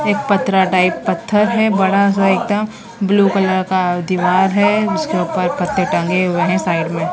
एक पथरा टाइप पत्थर है बड़ा सा एकदम ब्लू कलर का दीवार है उसके ऊपर कट्टे टंगे हुए हैं साइड में--